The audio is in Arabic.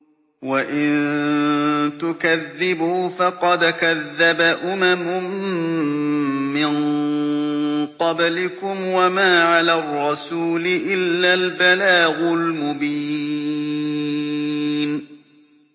وَإِن تُكَذِّبُوا فَقَدْ كَذَّبَ أُمَمٌ مِّن قَبْلِكُمْ ۖ وَمَا عَلَى الرَّسُولِ إِلَّا الْبَلَاغُ الْمُبِينُ